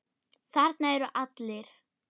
Þarna eru allir.